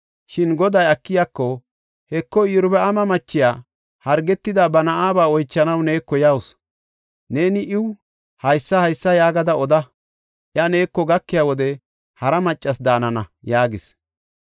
Shin Goday Akiyako, “Heko, Iyorbaama machiya hargetida ba na7aba oychanaw neeko yawusu. Neeni iw haysa haysa yaagada oda. Iya neeko gakiya wode hara maccas daanana” yaagis.